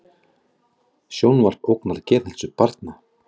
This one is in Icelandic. Sjónvarp ógnar geðheilsu barna